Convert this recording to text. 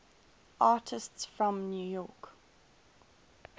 artists from new york